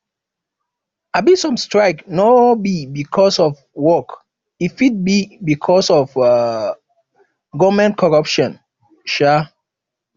um some strike no be because of work e fit be because of um government corruption um